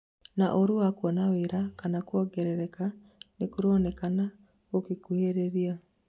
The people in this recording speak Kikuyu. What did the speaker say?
na ũru wa kuona wĩra kana kũongerereka nĩkũronekana gũgikuhĩrĩria